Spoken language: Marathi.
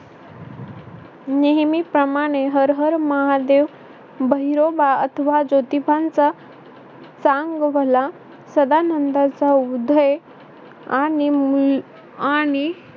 नेहमीप्रमाणे हर हर महादेव भैरोबा अथवा ज्योतीबांचा चांगभला सदानंदाचा उदय आणि मूल आणि